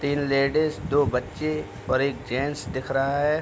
तीन लेडिज दो बच्चे और एक जेन्ट्स दिख रहा हैं।